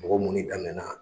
Mɔgɔ munni daminɛna